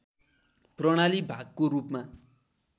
प्रणाली भागको रूपमा